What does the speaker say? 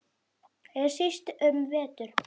Ekki síst um vetur.